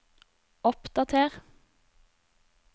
oppdater